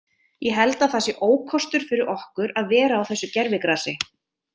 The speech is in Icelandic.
Ég held að það sé ókostur fyrir okkur að vera á þessu gervigrasi.